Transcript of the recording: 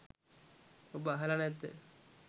ඔබ අහල නැද්ද.